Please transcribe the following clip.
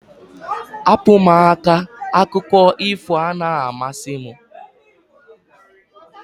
Hapụ m aka! Akụkọ ifo anaghị amasị m